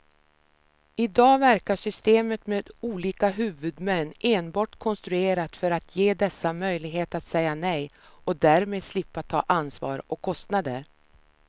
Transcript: I dag verkar systemet med olika huvudmän enbart konstruerat för att ge dessa möjlighet att säga nej och därmed slippa ta ansvar och kostnader.